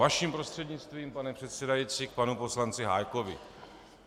Vaším prostřednictvím, pane předsedající, k panu poslanci Hájkovi.